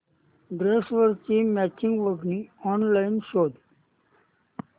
ड्रेसवरची मॅचिंग ओढणी ऑनलाइन शोध